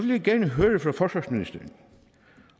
jeg gerne høre fra forsvarsministeren